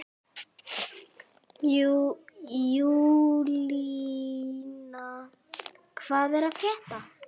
Júlína, hvað er að frétta?